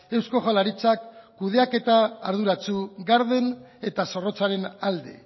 eusko jaurlaritzak kudeaketa arduratsu garden eta zorrotzaren alde